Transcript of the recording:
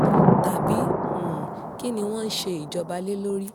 tàbí um kín ni wọ́n ń ṣe ìjọba lé lórí